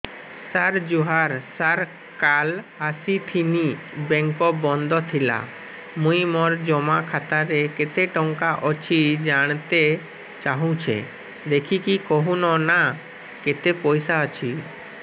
ସାର ଜୁହାର ସାର କାଲ ଆସିଥିନି ବେଙ୍କ ବନ୍ଦ ଥିଲା ମୁଇଁ ମୋର ଜମା ଖାତାରେ କେତେ ଟଙ୍କା ଅଛି ଜାଣତେ ଚାହୁଁଛେ ଦେଖିକି କହୁନ ନା କେତ ପଇସା ଅଛି